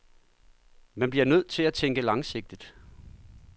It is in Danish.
Man bliver nødt til at tænke langsigtet.